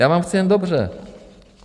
Já vám chci jen dobře.